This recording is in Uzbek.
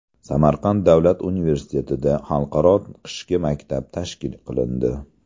Samarqand davlat universitetida Xalqaro qishki maktab tashkil qilindi.